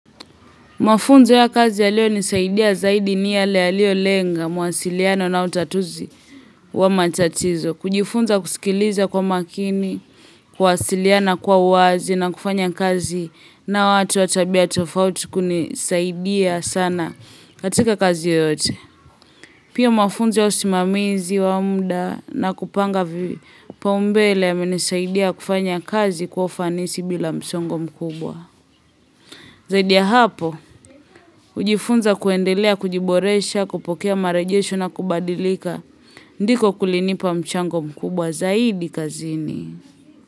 Mafunzo ya kazi yaliyonisaidia zaidi ni yale yaliyo lenga mawasiliano na utatuzi wa matatizo. Kujifunza kusikiliza kwa makini, kuwasiliana kwa uwazi na kufanya kazi na watu wa tabia tofauti kunisaidia sana katika kazi yoyote. Pia mafunzo ya usimamizi wa muda na kupanga vipaumbele yamenisaidia kufanya kazi kwa ufanisi bila msongo mkubwa. Zaidi ya hapo hujifunza kuendelea kujiboresha kupokea marejesho na kubandilika ndiko kulinipa mchango mkubwa zaidi kazini.